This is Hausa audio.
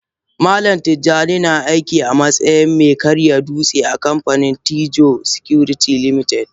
Malam tijjani na aiki amatsayin me karya dutse a kanfanin Tiddo security limited.